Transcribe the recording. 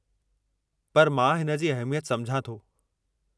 पर मां हिन जी अहमियत सम्झा थो।